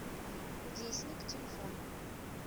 кудесник телефон